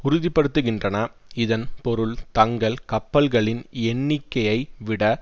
உறுதிபடுத்துகின்றன இதன் பொருள் தங்கள் கப்பல்களின் எண்ணிக்கையை விட